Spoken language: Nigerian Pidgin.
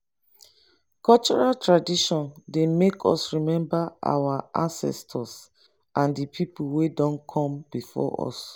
cultural tradition dey make us remember our ancestors and di pipo wey don come before us